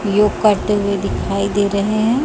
योग करते हुए दिखाई दे रहे हैं।